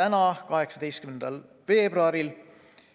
tänaseks, 18. veebruariks.